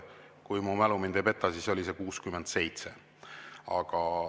Kui mu mälu mind ei peta, siis oli see 67.